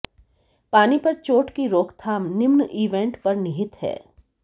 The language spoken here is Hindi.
पानी पर चोट की रोकथाम निम्न इवेंट में निहित है